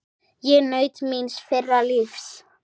Ég naut míns fyrra lífs.